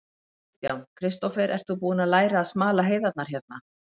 Kristján: Kristófer, ert þú búinn að læra að smala heiðarnar hérna?